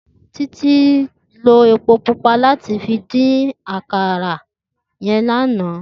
Titi ló épó púpà làtí fi din áwòn àkárá yèn làná